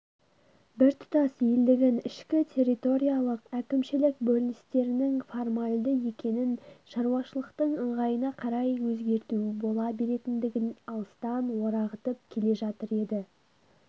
біртұтас елдігін ішкі территориялық-әкімшілік бөліністерінің формальді екенін шаруашылықтың ыңғайына қарай өзгерту бола беретіндігін алыстан орағытып келе жатыр еді